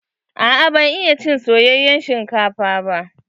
Aa ban iya cin soyayen shinkafa ba.